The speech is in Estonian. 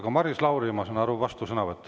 Aga Maris Lauri, ma saan aru, et vastusõnavõtt.